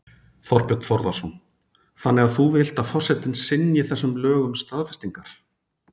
Þorbjörn Þórðarson: Þannig að þú vilt að forsetinn synji þessum lögum staðfestingar?